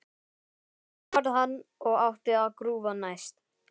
Sigga varð hann og átti að grúfa næst.